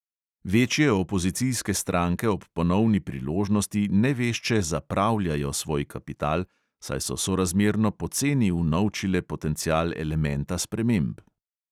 Večje opozicijske stranke ob ponovni priložnosti nevešče "zapravljajo" svoj kapital, saj so sorazmerno poceni unovčile potencial elementa sprememb.